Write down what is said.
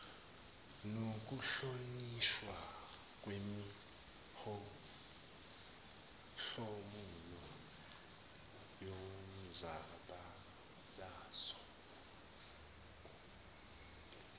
nokuhlonishwa kwemihlomulo yomzabalazo